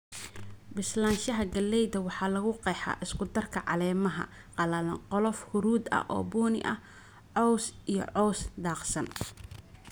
"Bislaanshaha galleyda waxaa lagu qeexaa isku darka caleemaha qallalan, qolof huruud ah oo bunni ah, caws iyo cows-daaqsan."